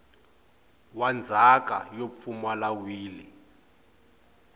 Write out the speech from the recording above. wa ndzhaka yo pfumala wili